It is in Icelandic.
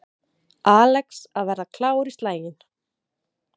Alex að verða klár í slaginn